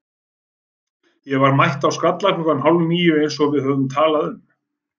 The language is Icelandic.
Ég var mætt á Skalla klukkan hálf níu eins og við höfðum talað um.